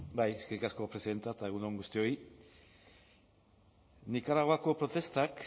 bai eskerrik asko presidente eta egun on guztioi nikaraguako protestak